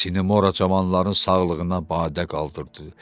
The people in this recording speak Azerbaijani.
Sinemora cavanların sağlığına badə qaldırdı.